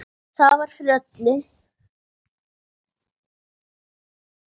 Það er fyrir öllu.